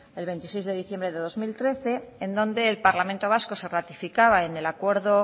el veintiséis de diciembre de dos mil trece en donde el parlamento vasco se ratificaba en el acuerdo